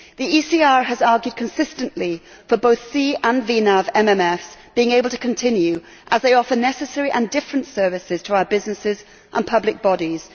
The ECR has argued consistently for both CNAV and VNAV MMFs to be able to continue, as they offer necessary and different services to our businesses and public bodies.